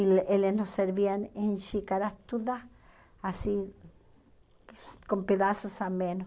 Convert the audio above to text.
E eles eles nos serviam em xícaras todas, assim, com pedaços a menos.